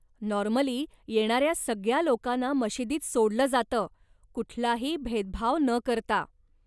Normally, येणाऱ्या सगळ्या लोकांना मशिदीत सोडलं जातं, कुठलाही भेदभाव न करता.